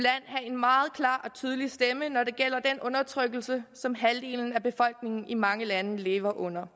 meget klar og tydelig stemme når det gælder den undertrykkelse som halvdelen af befolkningen i mange lande lever under